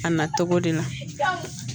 A na cogo de la